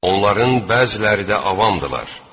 Onların bəziləri də avamdılar.